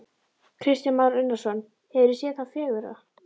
Kristján Már Unnarsson: Hefurðu séð það fegurra?